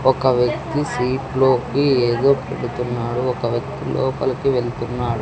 ఒక వ్యక్తి సీట్లోకి ఏదో పెడుతున్నాడు ఒక వ్యక్తి లోపలికి వెళ్తున్నాడు.